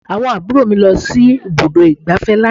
Àwọn àbúrò mi lọ sí ibùdó ìgbáfẹ́ lánàá